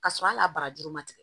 K'a sɔrɔ hali a barajuru ma tigɛ